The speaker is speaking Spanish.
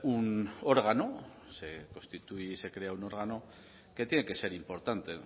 un órgano se constituye y se crea un órgano que tiene que ser importante